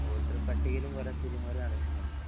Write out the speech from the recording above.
വോട്ടർപ്പട്ടികയിലും കുറെ തിരുമാറി നടക്കുന്നുണ്ട്